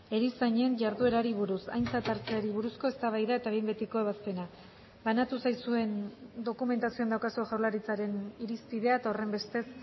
erizainen jarduerari buruz aintzat hartzeari buruzko eztabaida eta behin betiko ebazpena banatu zaizuen dokumentazioan daukazue jaurlaritzaren irizpidea eta horrenbestez